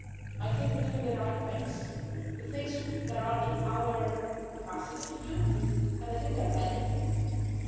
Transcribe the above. to see. I think we are doing the right things, the things that are in our capacity to do and there are many of